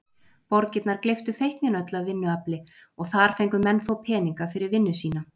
Borgirnar gleyptu feiknin öll af vinnuafli og þar fengu menn þó peninga fyrir vinnu sína.